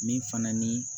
Min fana ni